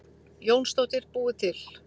Jónsdóttir búið til.